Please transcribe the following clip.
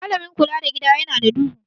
Malamin kula da Gida yana da duhu.